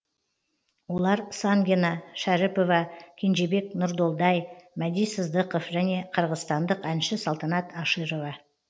олар сангина шәріпова кенжебек нұрдолдай мәди сыздықов және қырғызстандық әнші салтанат аширова